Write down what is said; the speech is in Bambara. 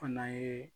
Fana ye